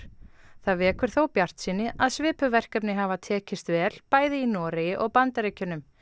það vekur þó bjartsýni að svipuð verkefni hafa tekist vel bæði í Noregi og Bandaríkjunum